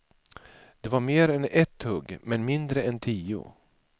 Det var mer än ett hugg, men mindre än tio.